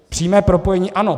Přímé propojení ano.